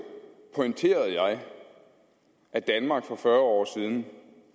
pointerede jeg at danmark for fyrre år siden